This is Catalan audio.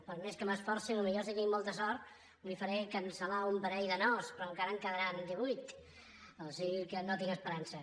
per més que m’hi esforci potser si tinc molta sort li faré cancel·lar un parell de nos però encara en quedaran divuit o sigui que no hi tinc esperança